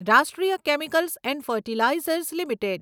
રાષ્ટ્રીય chemicals and fertilizers limited